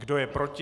Kdo je proti?